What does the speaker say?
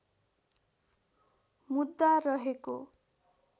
मुद्दा रहेको